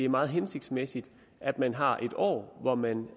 meget hensigtsmæssigt at man har en år hvor man